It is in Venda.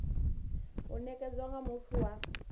u nekedzwa nga muthu wa